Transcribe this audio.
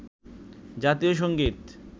জাতীয় সংগীত